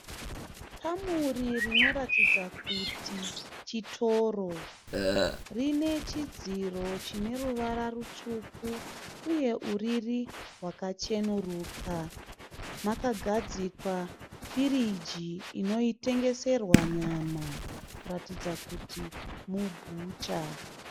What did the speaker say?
Kamuri rinoratidza kuti chitoro. Rinechidziro chineruvara rutsvuku, uye uriri rwakacheruka. Makagadzikwa firiji inotengeserwa nyama, kuratidza kuti mubhucha.